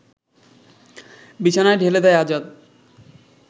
বিছানায় ঢেলে দেয় আজাদ